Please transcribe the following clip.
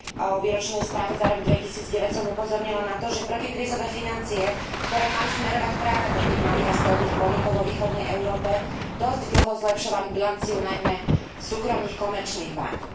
o výročnej správe za rok 2009 som upozornila na to, že protikrízové financie, ktoré mali smerovať práve do tých malých a stredných podnikov vo východnej Európe, dosť dlho zlepšovali bilanciu najmä súkromných komerčných bánk.